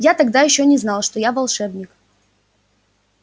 я тогда ещё не знал что я волшебник